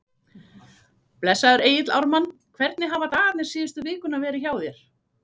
Blessaður Egill Ármann, hvernig hafa dagarnir síðustu vikuna verið hjá þér?